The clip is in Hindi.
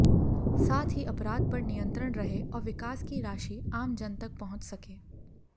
साथ ही अपराध पर नियंत्रण रहे और विकास की राशि आम जन तक पहुंच सके